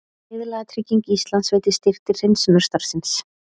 Viðlagatrygging Íslands veitir styrk til hreinsunarstarfsins